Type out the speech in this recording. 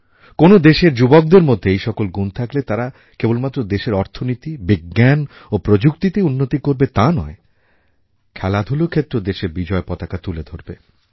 কোনও দেশের যুবকদের মধ্যে এই সকল গুণ থাকলে তারা কেবলমাত্র দেশের অর্থনীতি বিজ্ঞান ও প্রযুক্তিতেই উন্নতি করবে তা নয় খেলাধূলার ক্ষেত্রেও দেশের বিজয় পতাকা তুলে ধরবে